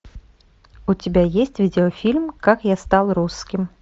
у тебя есть видеофильм как я стал русским